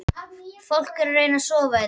Fólk er að reyna að sofa hérna